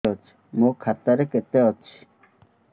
ମୋ ଖାତା ରେ କେତେ ଅଛି